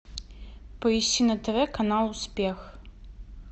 поищи на тв канал успех